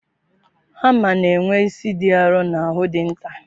Hama na-enwe isi dị arọ na ahụ dị nta.